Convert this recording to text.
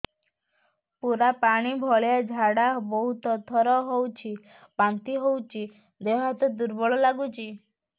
ପୁରା ପାଣି ଭଳିଆ ଝାଡା ବହୁତ ଥର ହଉଛି ବାନ୍ତି ହଉଚି ଦେହ ହାତ ଦୁର୍ବଳ ଲାଗୁଚି